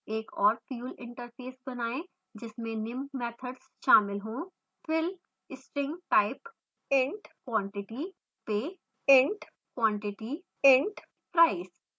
एक और fuel interface बनाएँ जिसमें निम्न मैथड्स शामिल हो